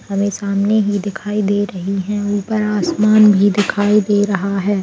हमे सामने ही दिखाई दे रहीं हैं ऊपर आसमान भी दिखाई दे रहा है।